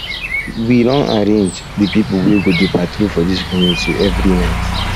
we we don arrange um di pipo wey go dey patrol for dis community every um night